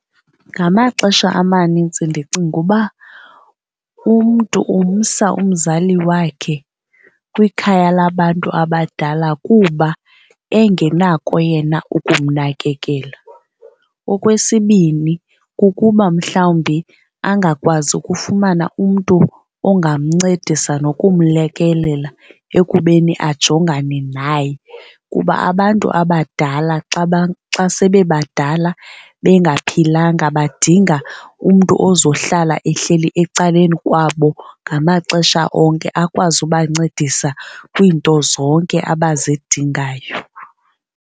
Ngamaxesha amanintsi ndicinga uba umntu umsa umzali wakhe kwikhaya labantu abadala kuba engenako yena ukumnakekela. Okwesibini, kukuba mhlawumbi angakwazi ukufumana umntu ongamncedisa nokumlekelela ekubeni ajongane naye. Kuba abantu abadala xa sebebadala bengaphilanga, badinga umntu ozohlala ehleli ecaleni kwabo ngamaxesha onke akwazi ubancedisa kwiinto zonke abazidingayo.